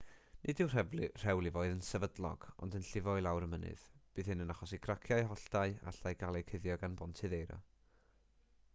nid yw'r rhewlifoedd yn sefydlog ond yn llifo i lawr y mynydd bydd hyn yn achosi craciau holltau a allai gael eu cuddio gan bontydd eira